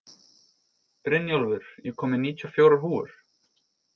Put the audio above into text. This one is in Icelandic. Brynjólfur, ég kom með níutíu og fjórar húfur!